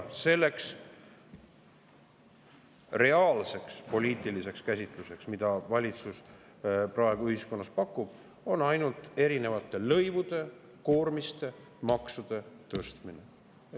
Selleks reaalseks poliitiliseks käsitluseks, mida valitsus praegu ühiskonnale pakub, on ainult erinevate lõivude, koormiste ja maksude tõstmine.